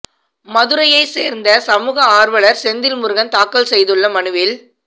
மதுரையைச் சேர்ந்த சமூக ஆர்வலர் செந்தில் முருகன் தாக்கல் செய்துள்ள மனுவில்